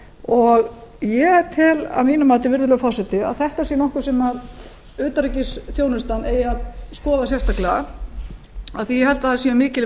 og ég tel að mínu mativirðulegur forseti að þetta sé nokkuð sem utanríkisþjónustan eigi að skoða sérstaklega af því ég held að að séu mikil